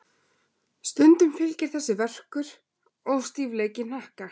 Stundum fylgir þessu verkur og stífleiki í hnakka.